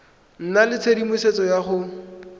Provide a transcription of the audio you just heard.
nna le tshedimosetso ya go